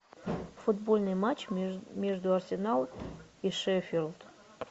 футбольный матч между арсенал и шеффилд